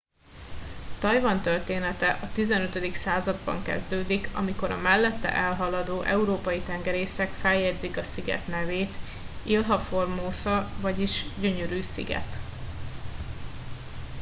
tajvan története a xv században kezdődik amikor a mellette elhaladó európai tengerészek feljegyzik a sziget nevét ilha formosa vagyis gyönyörű sziget